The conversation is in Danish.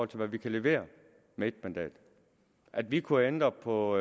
til hvad vi kan levere med ét mandat at vi kunne ændre på